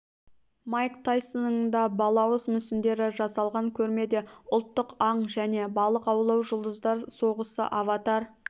майк тайсонның да балауыз мүсіндері жасалған көрмеде ұлттық аң және балық аулау жұлдыздар соғысы аватар